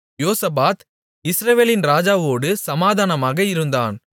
யோசபாத் இஸ்ரவேலின் ராஜாவோடு சமாதானமாக இருந்தான்